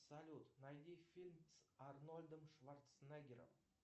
салют найди фильм с арнольдом шварценеггером